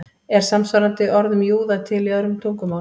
Er samsvarandi orð um júða til í öðrum tungumálum?